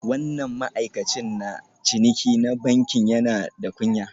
Wannan ma'aikacin na ciniki na bankin yana da kunya